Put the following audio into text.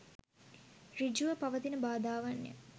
සෘජුව පවතින බාධාවන් ය